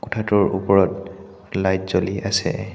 কোঠাটোৰ ওপৰত লাইট জ্বলি আছে।